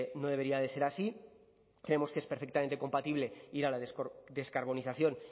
no debería de ser así creemos que es perfectamente compatible ir a la descarbonización